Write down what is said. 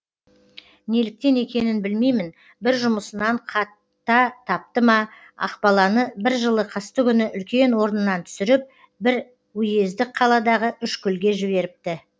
неліктен екенін білмеймін бір жұмысынан қата тапты ма ақбаланы бір жылы қыстыгүні үлкен орнынан түсіріп бір үйездік қаладағы үшкүлге жіберіпті